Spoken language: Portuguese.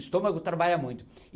O estômago trabalha muito.